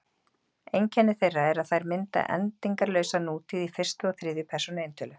Einkenni þeirra er að þær mynda endingarlausa nútíð í fyrstu og þriðju persónu eintölu.